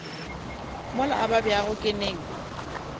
mola a babjago ke neng